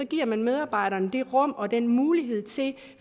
giver man medarbejderne det rum og den mulighed til